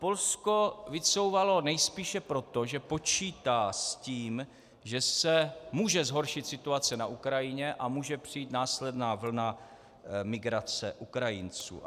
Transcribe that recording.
Polsko vycouvalo nejspíše proto, že počítá s tím, že se může zhoršit situace na Ukrajině a může přijít následná vlna migrace Ukrajinců.